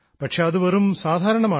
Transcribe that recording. പക്ഷേ അത് വെറും സാധാരണമാണ്